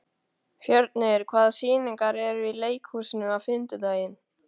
Fjörnir, hvaða sýningar eru í leikhúsinu á fimmtudaginn?